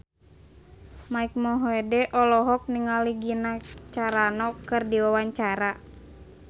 Mike Mohede olohok ningali Gina Carano keur diwawancara